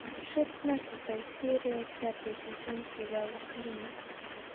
шестнадцатая серия пятый сезон сериала клиника